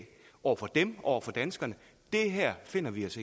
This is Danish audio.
over for dem over for danskerne at det her finder vi os